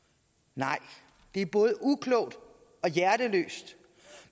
nej det er både uklogt og hjerteløst